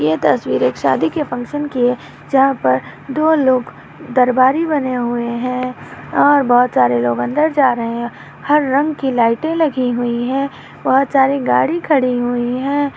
ये तस्वीर एक शादी के फंक्शन की है जहाँ पर दो लोग दरवारी बने हुए है और बहुत सारे लोग अंदर जा रहे है हर रंग की लायटे लगी हुई है बहुत सारी गाड़ी खड़ी हुई है।